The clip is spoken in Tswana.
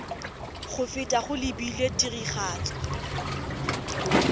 go feta go lebilwe tiragatso